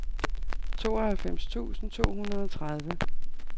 tooghalvfems tusind to hundrede og tredive